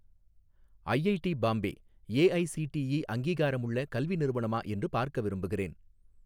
IIT Bombay AICTE அங்கீகாரமுள்ள கல்வி நிறுவனமா என்று பார்க்க விரும்புகிறேன்